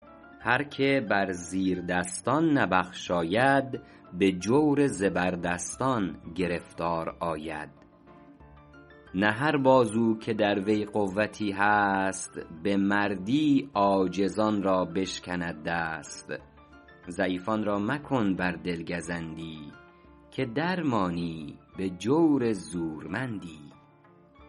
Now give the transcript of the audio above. هر که بر زیردستان نبخشاید به جور زبردستان گرفتار آید نه هر بازو که در وی قوتی هست به مردی عاجزان را بشکند دست ضعیفان را مکن بر دل گزندی که در مانی به جور زورمندی